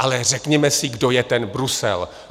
Ale řekněme si, kdo je ten Brusel.